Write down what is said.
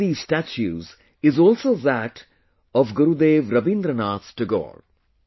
One of these statues is also that of Gurudev Rabindranath Tagore